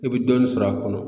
I bɛ dɔɔnin sɔrɔ a kɔnɔ